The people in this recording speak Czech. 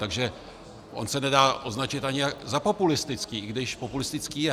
Takže on se nedá označit ani za populistický, i když populistický je.